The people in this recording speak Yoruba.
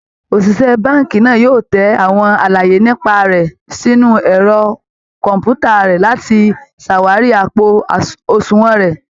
Òṣìṣẹ́ báǹkì náà yóò tẹ àwọn àlàyé nípa rẹ̀ sínú ẹ̀rọ kọ̀ǹpútà rẹ̀ láti ṣàwárí àpò àṣùnwọ̀n rẹ